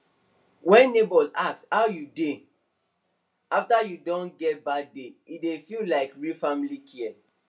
wen neighbour ask how you dey after you don get bad day e dey feel like real family care